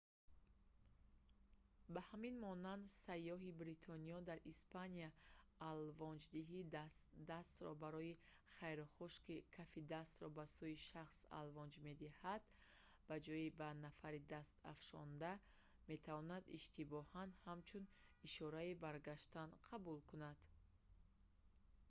ба ҳамин монанд сайёҳи бритониёӣ дар испания алвонҷдиҳии дастро барои хайрухуш ки кафи дастро ба сӯи шахс алвонҷ медиҳанд ба ҷои ба нафари даст афшонда метавонад иштибоҳан ҳамчун ишораи баргаштан қабул кунад